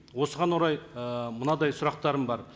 осыған орай і мынадай сұрақтарым бар